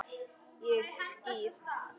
Ég skýt!